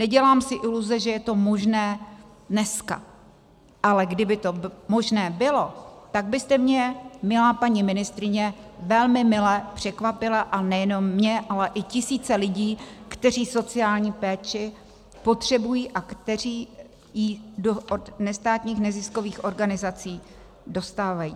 Nedělám si iluze, že je to možné dneska, ale kdyby to možné bylo, tak byste mě, milá paní ministryně, velmi mile překvapila, a nejenom mě, ale i tisíce lidí, kteří sociální péči potřebují a kteří ji od nestátních neziskových organizací dostávají.